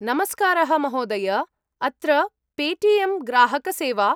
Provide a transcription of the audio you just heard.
नमस्कारः महोदय, अत्र पे टि एम् ग्राहकसेवा।